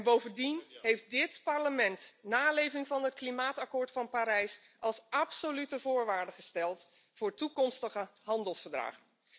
Bovendien heeft dit Parlement naleving van het klimaatakkoord van Parijs als absolute voorwaarde gesteld voor toekomstige handelsverdragen.